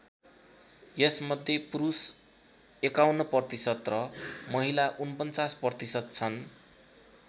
यसमध्ये पुरुष ५१ प्रतिशत र महिला ४९ प्रतिशत छन्।